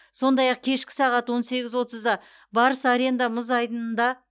сондай ақ кешкі сағат он сегіз отызда барыс аренда мұз айдынында